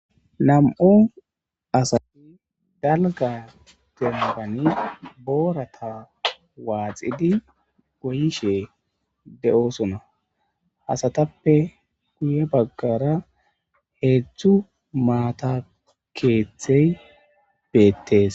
Nam'u asati dallga bootan boorata waaxidi goyishe de'osona. Asatappe guye baggara heedzdzu maata keeththey beettees.